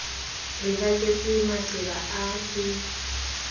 re baketse maqeba a ke